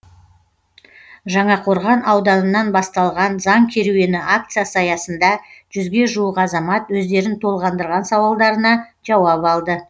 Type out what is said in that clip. жаңақорған ауданынан басталған заң керуені акциясы аясында жүзге жуық азамат өздерін толғандырған сауалдарына жауап алды